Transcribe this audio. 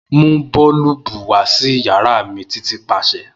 Mu boolubu wa si yara mi Titi paṣẹ.